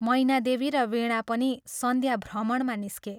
मैनादेवी र वीणा पनि सान्ध्यभ्रमणमा निस्के।